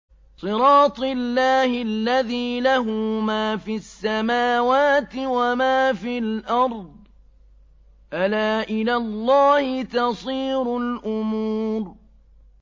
صِرَاطِ اللَّهِ الَّذِي لَهُ مَا فِي السَّمَاوَاتِ وَمَا فِي الْأَرْضِ ۗ أَلَا إِلَى اللَّهِ تَصِيرُ الْأُمُورُ